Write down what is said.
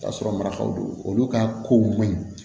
K'a sɔrɔ marakaw do olu ka kow man ɲi